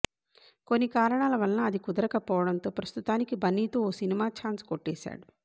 కొన్ని కారణాల వలన అది కుదరకపోవడంతో ప్రస్థుతానికి బన్నీతో ఓ సినిమా ఛాన్స్ కొట్టేశాడు